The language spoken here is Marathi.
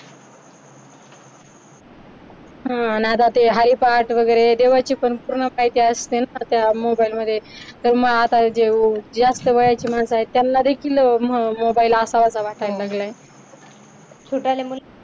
आता ते हरिपाठ वगैरे देवाची पण पूर्ण माहिती असते ना त्या मोबाईल मध्ये तर मग आता जे जास्त वयाची माहिती माणस आहे त्यांनादेखील मोबाईल असावा असा वाटायला लागलाय छोट्याले मुलं